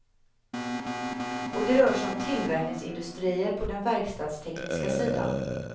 Och det rör sig om tillverkningsindustrier på den verkstadstekniska sidan.